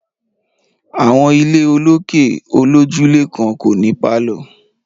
Àwọn ilé olókè olójúlé kan kò ní pálọ̀